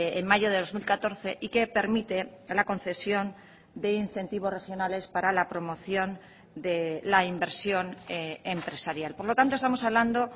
en mayo de dos mil catorce y que permite la concesión de incentivos regionales para la promoción de la inversión empresarial por lo tanto estamos hablando